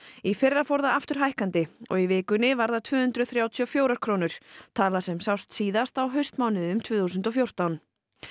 í fyrra fór það aftur hækkandi og í vikunni var það tvö hundruð þrjátíu og fjórar krónur tala sem sást síðast á haustmánuðum tvö þúsund og fjórtán